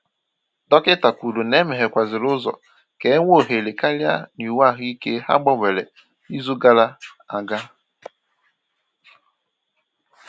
Dọkịta kwuru na e meghekwàzịla ụzọ ka e nwee ohere karịa n’iwu ahụike ha gbanwere izu gara aga